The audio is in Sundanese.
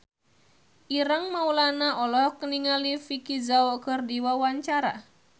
Ireng Maulana olohok ningali Vicki Zao keur diwawancara